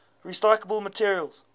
recyclable materials